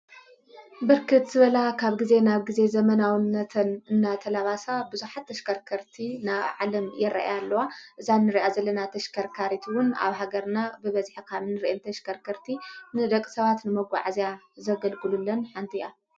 ብርክት ዝበላ ኻብ ጊዜ ናብ ጊዜ ዘመናውነትን እና ተላባሳ ብዙኃት ተሽከርከርቲ ናብ ዓለም የረአያ ኣለዋ እዛንርያ ዘለና ተሽከርካሪት እውን ኣብ ሃገርና ብበዚኀ ካምን ርአን ተ ሽከርከርቲ ንደቕ ሰባት ንመጕዕእዚያ ዘገልግሉለን ሓንቲያ